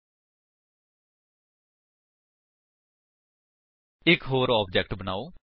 ਹੁਣ ਇੱਕ ਹੋਰ ਆਬਜੇਕਟ ਬਨਾਓ